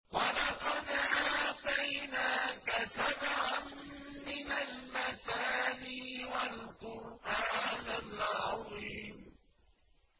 وَلَقَدْ آتَيْنَاكَ سَبْعًا مِّنَ الْمَثَانِي وَالْقُرْآنَ الْعَظِيمَ